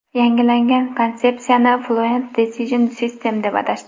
Yangilangan konsepsiyani Fluent Design System deb atashdi.